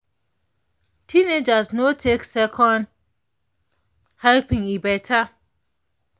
teenagers no take second helping e better.